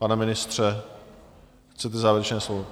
Pane ministře, chcete závěrečné slovo?